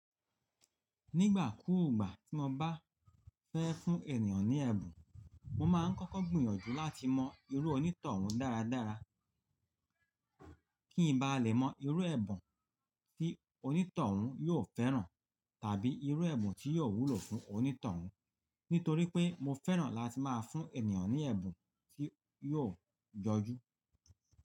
Nígbà kúùgbà tí mo bá fẹ́ fún ènìyàn ní ẹ̀bùn, mo máa ń kọ́kọ́ gbìyànjú láti mọ irú onítọ̀hún dáradára kí n ba lè mọ irú ẹ̀bùn tí onítọ̀hún yóò fẹ́ràn tàbí irú ẹ̀bùn tí yóò wúlò fún onítọ̀hún. Nítorí pé mo fẹ́ràn láti máa fún ènìyàn ní ẹ̀bùn tí yóò jọjú.